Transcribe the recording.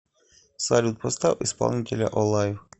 салют поставь исполнителя олайв